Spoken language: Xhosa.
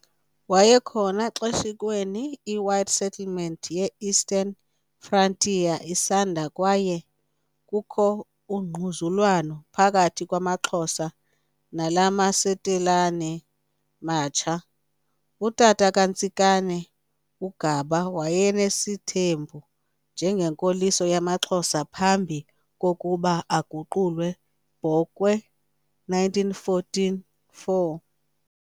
Wayekhona xeshikweni iwhite settlement ye Eastern Frontier isanda kwaye kukho ungquzulwano phakathi kwamaXhosa nalamasetilane matsha. Utata kaNtsikane, uGaba wayenesithembu njengenkoliso yamaXhosa phambi kokuba aguqulwe, Bokwe 1914,4.